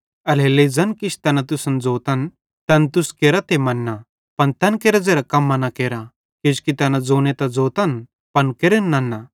एल्हेरेलेइ ज़ैन किछ तैना तुसन ज़ोतन तैन तुस केरा ते मेन्ना पन तैन केरां ज़ेरां कम्मां न केरा किजोकि तैना ज़ोने त ज़ोतन पन केरन नन्ना